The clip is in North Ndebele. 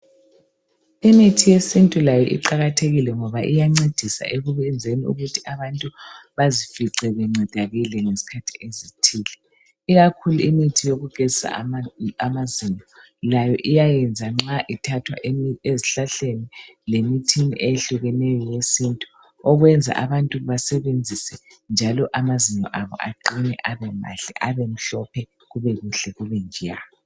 Imithi yesintu layo iqakathekile ngoba iyancedisa ekwenzeni ukuthi abantu bazifice bencedakele ngesikhathi ezithile. Ikakhulu imithi yokugezisa amazinyo layo iyayenza nxa ithathwa esihlahleni lemithini ehlukeneyo yesintu okwenza abantu basebenzisa njalo amazinyo abo aqine abe mahle abe mhlophe kube kuhle kube njeya